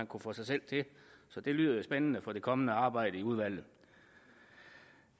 kunne få sig selv til så det lyder jo spændende for det kommende arbejde i udvalget